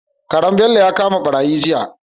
Karen Bello ya kama barayi jiya